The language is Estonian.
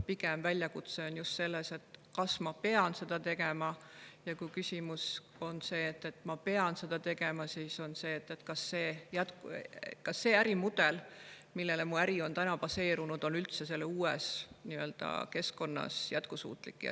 Pigem on väljakutse just selles, kas ma pean seda tegema, ja kui ma pean seda tegema, siis on küsimus selles, kas see ärimudel, millel mu äri on seni baseerunud, on üldse uues keskkonnas jätkusuutlik.